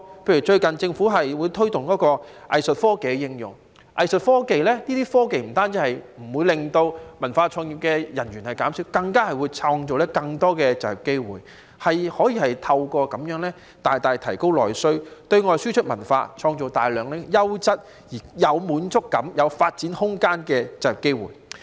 例如最近政府推動應用藝術科技，不但不會令文化創意人員減少，更能創造更多就業機會，透過應用這些科技大大提高內需，對外輸出文化，創造大量優質、有滿足感、有發展空間的就業機會。